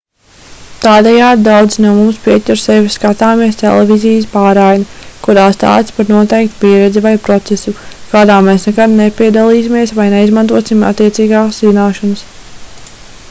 tādējādi daudzi no mums pieķer sevi skatāmies televīzijas pārraidi kurā stāsta par noteiktu pieredzi vai procesu kādā mēs nekad nepiedalīsimies vai neizmantosim attiecīgās zināšanas